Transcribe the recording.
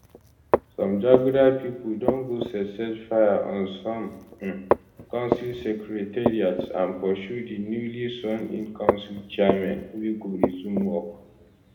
some jaguda pipo don go set set fire on some um council secretariats and pursue di newly sworn in council chairmen wey go resume work